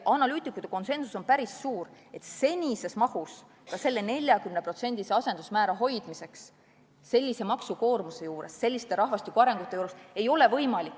Analüütikute konsensus on päris suur, et ka selle 40% asendusmäära hoidmiseks sellise maksukoormuse ja selliste rahvastikuarengute juures võimalust ei ole.